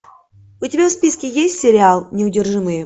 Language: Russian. у тебя в списке есть сериал неудержимые